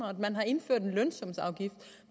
og at man har indført en lønsumsafgift